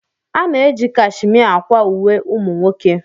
A na-eji cashimia akwa uwe ụmụ nwoke.